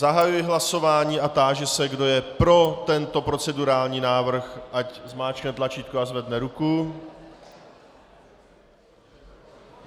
Zahajuji hlasování a táži se, kdo je pro tento procedurální návrh, ať zmáčkne tlačítko a zvedne ruku.